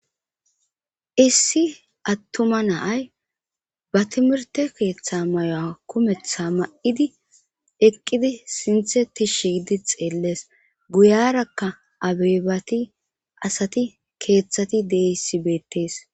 issi attuma na7ay ba timirte keeththa mayo7a kumetha ma7idi eqqidi sinthe tishi gidi xeellees guyarakka abeebati asati keeththati deeyssi beettes